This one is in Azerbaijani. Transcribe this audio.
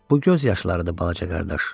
Bu göz yaşlarıdır balaca qardaş.